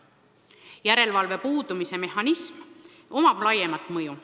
Järelevalve mehhanismi puudumisel on laiem mõju.